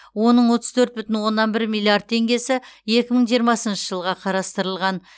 оның отыз төрт бүтін оннан бір миллиард теңгесі екі мың жиырмасыншы жылға қарастырылған